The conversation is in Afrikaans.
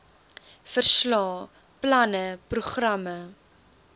verslae planne programme